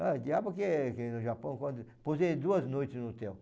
Ah, diabo que que no Japão quando... Pousei duas noites no hotel.